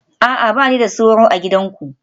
A'a, ba ni da sauro a gidanku